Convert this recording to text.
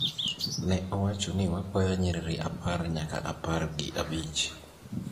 ne owacho ni wakwayo nyiriri apar nyaka apar gi abich.